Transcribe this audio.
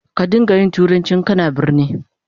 Ka don ga yin turanci in kana a birni.